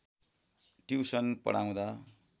tuition पढाउँदा